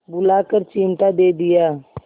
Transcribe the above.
बुलाकर चिमटा दे दिया